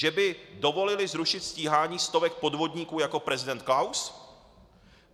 Že by dovolili zrušit stíhání stovek podvodníků jako prezident Klaus?